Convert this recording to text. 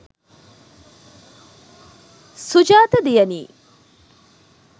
sujatha diyanee